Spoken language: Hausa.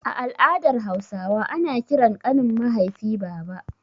A al'adar Hausawa ana ƙiran ƙanin mahaifi baba.